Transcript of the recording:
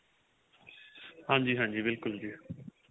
ਹਾਂਜੀ ਹਾਂਜੀ ਬਿਲਕੁਲ ਜੀ